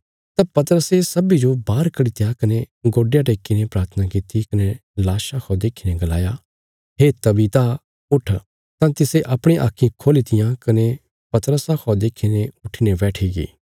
तां पतरसे सब्बीं जो बाहर कड्डी त्या कने गोडयां टेक्कीने प्राथना किति कने लाशा खौ देखीने गलाया हे तबीता उट्ठ तां तिसे अपणिया आक्खीं खोली तियां कने पतरसा खौ देखीने उट्ठीने बैठिगी